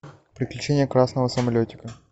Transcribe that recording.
приключения красного самолетика